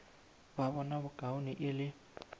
ba bona bokaone e le